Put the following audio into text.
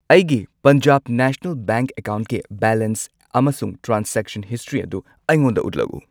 ꯑꯩꯒꯤ Punjab national bank ꯑꯦꯀꯥꯎꯟꯠꯀꯤ balance ꯑꯃꯁꯨꯡ ꯇ꯭ꯔꯥꯟꯖꯦꯛꯁꯟ ꯍꯤꯁꯇ꯭ꯔꯤ ꯑꯗꯨ ꯑꯩꯉꯣꯟꯗ ꯎꯠꯂꯛꯎ꯫